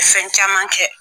Fɛn caman kɛ